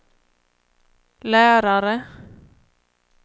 lärare